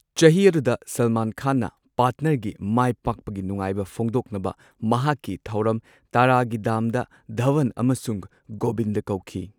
ꯆꯍꯤ ꯑꯗꯨꯗ ꯁꯜꯃꯥꯟ ꯈꯥꯟꯅ ꯄꯥꯔꯠꯅꯔ ꯒꯤ ꯃꯥꯏꯄꯥꯛꯄꯒꯤ ꯅꯨꯡꯉꯥꯢꯕ ꯐꯣꯡꯗꯣꯛꯅꯕ ꯃꯍꯥꯛꯀꯤ ꯊꯧꯔꯝ, ꯇꯔꯥ ꯒꯤ ꯗꯝꯗ ꯙꯥꯋꯟ ꯑꯃꯁꯨꯡ ꯒꯣꯕꯤꯟꯗ ꯀꯧꯈꯤ꯫